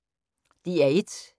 DR1